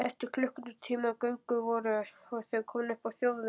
Eftir klukkutíma göngu voru þau komin upp á þjóðveg.